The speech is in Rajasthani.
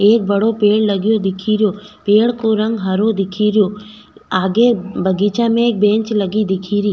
एक बड़ो पेड़ लगो दिख रियो पेड़ को रंग हरो दिख रियो आगे बगीचा में एक बेंच लगे दिख री।